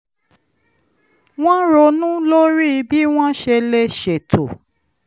wọ́n ronú lórí bí wọ́n ṣe lè ṣètò